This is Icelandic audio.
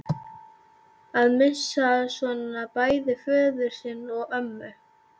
Að missa svona bæði föður sinn og ömmu